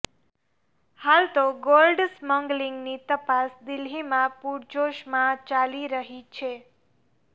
હાલ તો ગોલ્ડ સ્મગલિંગની તપાસ દિલ્હીમાં પૂરજોશમાં ચાલી રહી છે